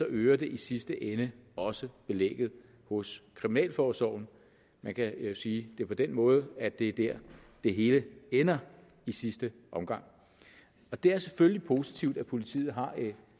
øger det i sidste ende også belægget hos kriminalforsorgen man kan jo sige det på den måde at det er der det hele ender i sidste omgang det er selvfølgelig positivt at politiet har